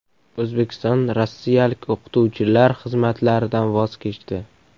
O‘zbekiston rossiyalik o‘qituvchilar xizmatlaridan voz kechdi.